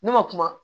Ne ma kuma